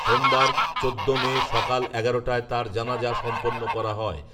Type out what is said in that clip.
সোমবার, চোদ্দ মে, সকাল এগারোটায় তার জানাজা সম্পন্ন করা হয়